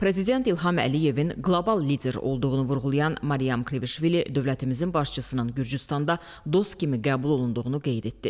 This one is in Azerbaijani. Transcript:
Prezident İlham Əliyevin qlobal lider olduğunu vurğulayan Maryam Kvişvili dövlətimizin başçısının Gürcüstanda dost kimi qəbul olunduğunu qeyd etdi.